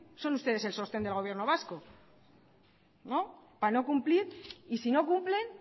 son ustedes el sostén del gobierno vasco para no cumplir y si no cumplen